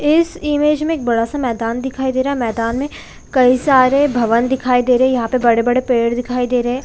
इस इमेज में एक बड़ा-सा मैदान दिखाई दे रहा है मैदान में कई सारे भवन दिखाई दे रहे है यहाँ पर बड़े-बड़े पेड़ दिखाई दे रहे है।